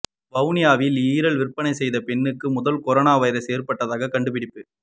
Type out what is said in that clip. வுஹானில் இறால் விற்பனை செய்யும் பெண்ணுக்கு முதல் கொரானா வைரஸ் ஏற்பட்டதாக கண்டுபிடிப்பு